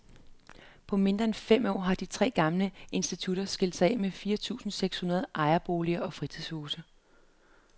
På mindre end fem år har de tre gamle institutter skilt sig af med fire tusinde seks hundrede ejerboliger og fritidshuse.